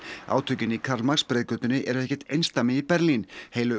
átökin í Karl Marx eru ekkert einsdæmi í Berlín heilu